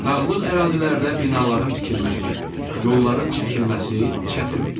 Dağlıq ərazilərdə binaların tikilməsi, yolların çəkilməsi çətindir.